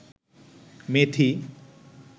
মেথি